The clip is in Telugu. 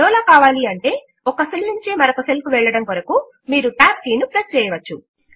మరోలా కావాలి అంటే ఒక సెల్ నుంచి మరొక సెల్ కు వెళ్లడము కొరకు మీరు TAB కీ ను ప్రెస్ చేయవచ్చు